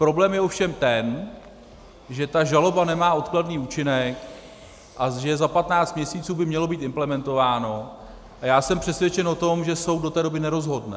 Problém je ovšem ten, že ta žaloba nemá odkladný účinek a že za 15 měsíců by mělo být implementováno, a já jsem přesvědčen o tom, že soud do té doby nerozhodne.